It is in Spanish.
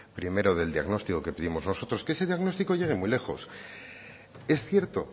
primero del diagnóstico que pedimos nosotros que ese diagnóstico llegue muy lejos es cierto